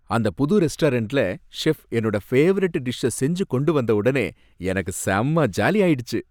அந்த புது ரெஸ்டாரன்ட்ல செஃப் என்னோட பேவரட் டிஷ்ஷ செஞ்சு கொண்டு வந்தவுடனே எனக்கு செம ஜாலி ஆயிடுச்சு